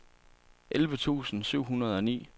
elleve tusind syv hundrede og ni